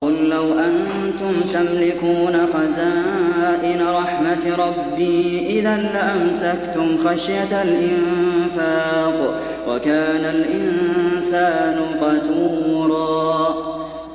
قُل لَّوْ أَنتُمْ تَمْلِكُونَ خَزَائِنَ رَحْمَةِ رَبِّي إِذًا لَّأَمْسَكْتُمْ خَشْيَةَ الْإِنفَاقِ ۚ وَكَانَ الْإِنسَانُ قَتُورًا